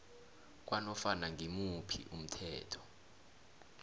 kwanofana ngimuphi umthetho